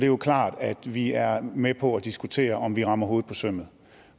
jo klart at vi er med på at diskutere om vi rammer hovedet på sømmet